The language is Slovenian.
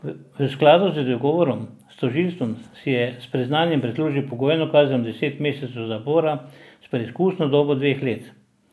V skladu z dogovorom s tožilstvom si je s priznanjem prislužil pogojno kazen deset mesecev zapora s preizkusno dobo dveh let.